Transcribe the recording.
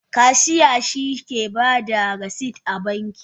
Kashiya shike bada rasit a banki.